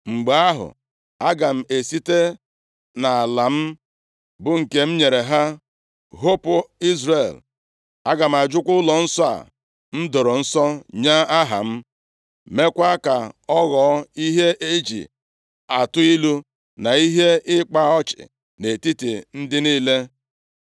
mgbe ahụ, aga m esite nʼala m, bụ nke m nyere ha, hopu Izrel. Aga m ajụkwa ụlọnsọ a m doro nsọ nye Aha m, meekwa ka ọ ghọọ ihe e ji atụ ilu na ihe ịkpa ọchị nʼetiti ndị niile.